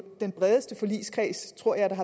den bredeste forligskreds tror jeg der